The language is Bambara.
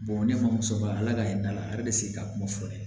ne ma musoba ala ala ka hinɛ a la ala de bɛ se k'a kuma furakɛ